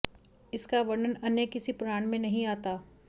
इसका वर्णन अन्य किसी पुराण में नहीं आता